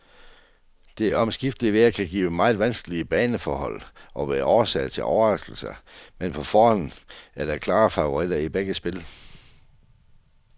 Det omskiftende vejr kan give meget vanskelige baneforhold og være årsag til overraskelser, men på forhånd er der klare favoritter i begge spil.